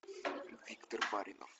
виктор баринов